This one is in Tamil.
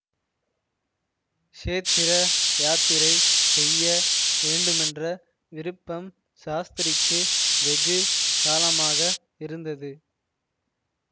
க்ஷேத்திர யாத்திரை செய்ய வேண்டுமென்ற விருப்பம் சாஸ்திரிக்கு வெகு காலமாக இருந்தது